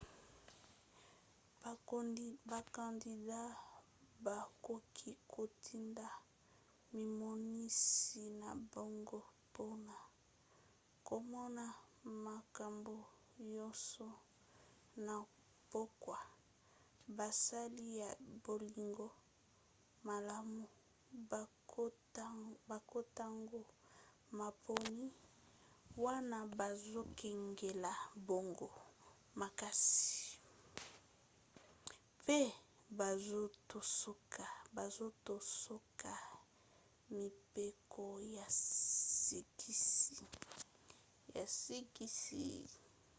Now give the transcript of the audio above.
bakandida bakoki kotinda mimonisi na bango mpona komona makambo nyonso. na pokwa basali ya bolingo malamu bakotanga maponi wana bazokengela bango makasi pe bazotosa mibeko ya sikisiki